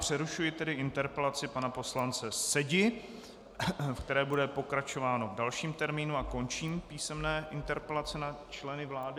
Přerušuji tedy interpelaci pana poslance Sedi, v které bude pokračováno v dalším termínu, a končím písemné interpelace na členy vlády.